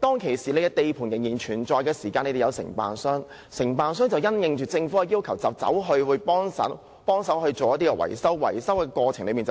當時，由於地盤仍然存在，承建商因應政府的要求協助維修，但承建商在維修過程中表示，他們